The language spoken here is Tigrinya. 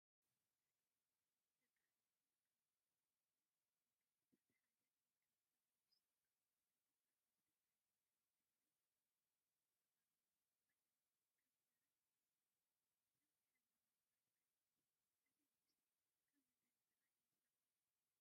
ደቂ አንስትዮ ካብ ዝጥቀሞኦ መጋየፅታት ሓደ ናይ ከንፈር ልብስቲክ እንትኮን ብዝተፈላለዩ ዓይነት ሕብሪ ዝቀርቡ ኮይኖም ከንፈረን ሉሱሉስን ሕብራውን መልክዕ ይህብ እዚ ልብስቲክ ካብ ምንታይ ዝስራሕ ይመስለኩም?